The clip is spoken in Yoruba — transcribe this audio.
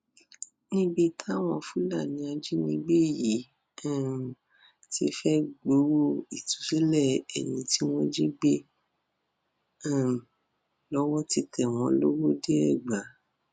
níbi táwọn fúlàní ajínigbé yìí um ti fẹẹ gbowó ìtúsílẹ ẹni tí wọn jí gbé um lọwọ ti tẹ wọn lọwọdeẹgbà